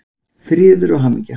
Friður og hamingja!